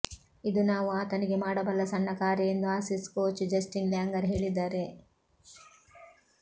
ಇದು ನಾವು ಆತನಿಗೆ ಮಾಡಬಲ್ಲ ಸಣ್ಣ ಕಾರ್ಯ ಎಂದು ಆಸೀಸ್ ಕೋಚ್ ಜಸ್ಟಿನ್ ಲ್ಯಾಂಗರ್ ಹೇಳಿದ್ದಾರೆ